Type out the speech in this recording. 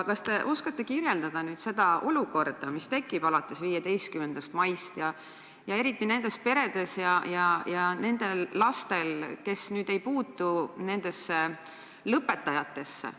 Kas te oskate kirjeldada seda olukorda, mis tekib alates 15. maist, eriti nendes peredes ja nende lastega, kes ei ole lõpetajad?